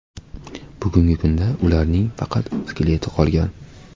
Bugungi kunda ularning faqat skeleti qolgan.